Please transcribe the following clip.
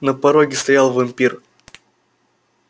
на пороге стоял вампир